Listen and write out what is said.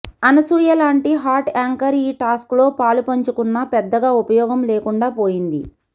అనసూయ లాంటి hot anchor ఈ task లో పాలు పంచుకున్న పెద్దగా ఉపయోగం లేకుండా పోయింది